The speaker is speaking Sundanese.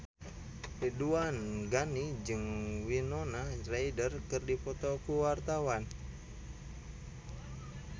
Ridwan Ghani jeung Winona Ryder keur dipoto ku wartawan